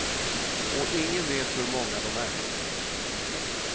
Och ingen vet hur många dom är.